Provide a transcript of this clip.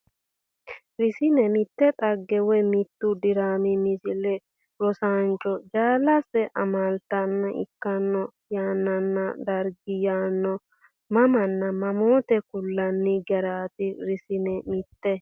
Rsn Mitte dhagge woy mittu diraami Misile Rosaancho jaalase amaaltanna ikkino yannanna darga yaano mamanna mamoote kullanni garaati Rsn Mitte.